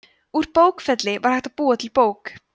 úr bókfelli var hægt að búa til bók